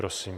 Prosím.